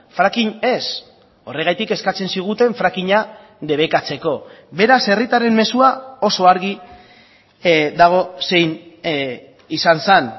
fracking ez horregatik eskatzen ziguten frackinga debekatzeko beraz herritarren mezua oso argi dago zein izan zen